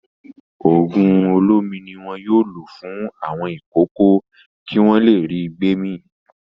Òògùn olómi ni wọn yóò lò fún àwọn ìkókó kí wọ́n le ri gbémì.